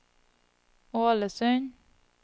Ålesund